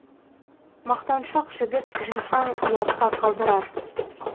мақтаншақ жігіт жисаң ұятқа қалдырар